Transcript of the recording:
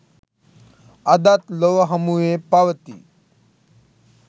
අදත් ලොව හමුවේ පවතියි